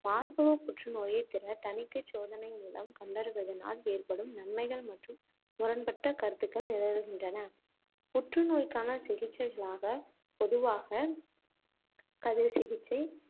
மார்பகப் புற்றுநோயைத் திறத் தணிக்கைச் சோதனை மூலம் கண்டறிவதனால் ஏற்படும் நன்மைகள் மற்றும் முரண்பட்ட கருத்துக்கள் நிலவுகின்றன புற்று நோய்க்கான சிகிச்சைகளாக, பொதுவாக, கதிர் சிகிச்சை,